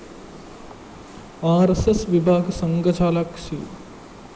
R S S വിഭാഗ് സംഘചാലക് C